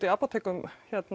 í apótekum